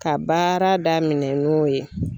Ka baara daminɛ n'u ye